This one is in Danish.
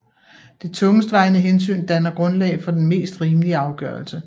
Det tungestvejende hensyn danner grundlag for den mest rimelige afgørelse